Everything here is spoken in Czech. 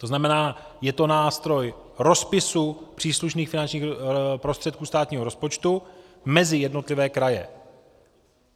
To znamená, je to nástroj rozpisu příslušných finančních prostředků státního rozpočtu mezi jednotlivé kraje.